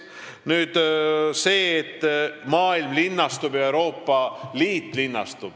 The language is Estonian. Nüüd sellest, et maailm ja Euroopa Liit linnastuvad.